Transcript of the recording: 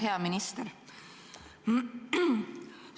Hea minister!